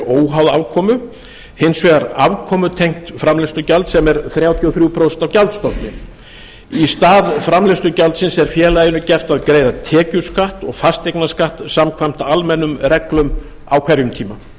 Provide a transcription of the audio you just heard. óháð afkomu hins vegar afkomutengt framleiðslugjald sem er þrjátíu og þrjú prósent af gjaldstofni í stað framleiðslugjaldsins er félaginu gert að greiða tekjuskatt og fasteignaskatt samkvæmt almennum reglum á hverjum tíma